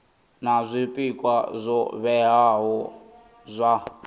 na zwpikwa zwo vhewaho zwa